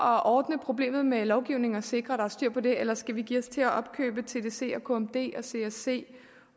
at ordne problemet med lovgivning og sikre at der er styr på det eller skal vi give os til at opkøbe tdc kmd csc